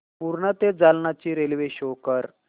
पूर्णा ते जालना ची रेल्वे शो कर